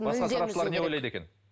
басқа сарапшылар не ойлайды екен